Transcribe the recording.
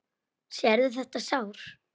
Sérðu þetta sár?